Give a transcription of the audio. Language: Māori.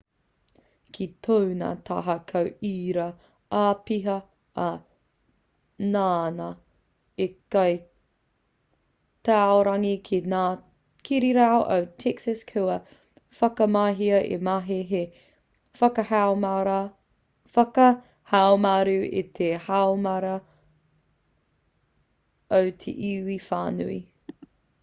ki tōna taha ko ērā āpiha ā nāna i kī taurangi ki ngā kirirarau o texas kua whakamahia he mahi hei whakahaumaru i te haumaru o te iwi whānui